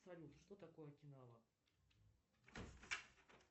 салют что такое окинава